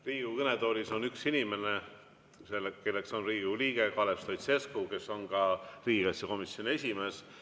Riigikogu kõnetoolis on üks inimene, kelleks on Riigikogu liige Kalev Stoicescu, kes on ka riigikaitsekomisjoni esimees.